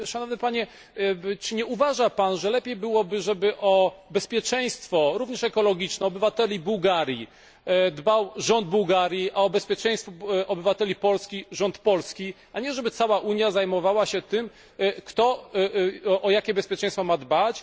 Szanowny Panie, czy nie uważa Pan, że lepiej byłoby, żeby o bezpieczeństwo, również ekologiczne, obywateli Bułgarii dbał rząd Bułgarii, a o bezpieczeństwo obywateli Polski rząd Polski, a nie, żeby cała Unia zajmowała się tym, kto o jakie bezpieczeństwo ma dbać?